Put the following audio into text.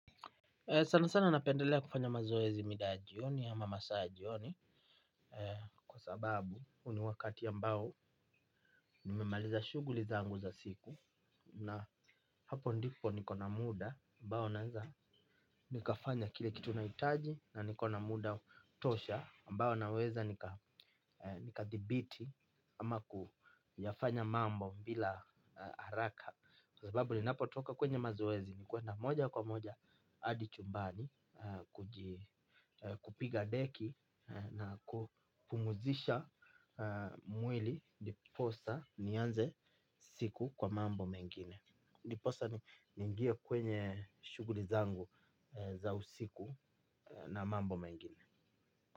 Sana sana napendelea kufanya mazoezi midayajioni ama masaayajioni. Kwa sababu huuni wakati ambao nimemaliza shughuli zangu za siku. Na hapo ndipo nikona muda ambao naweza nikafanya kile kituna hitaji. Na nikona muda tosha ambao naweza nikadhibiti ama kuyafanya mambo bila haraka. Kwa sababu ni napotoka kwenye mazoezi ni kwenda moja kwa moja hadi chumbani kupiga deki na kupumzisha mwili diposa nianze siku kwa mambo mengine. Diposa ni ingie kwenye shughuli zangu za usiku na mambo mengine.